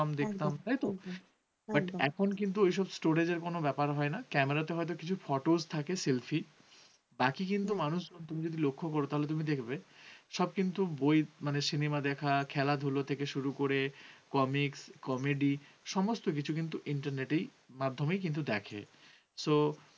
তুমি যদি মানুষ যদি লক্ষ্য কর, তাহলে তুমি দেখবে সব কিন্তু, বই মানে cinema দেখা খেলাধুলো থেকে শুরু করে comics, comedy সমস্ত কিছু কিন্তু internet এই মাধ্যমে কিন্তু দেখে so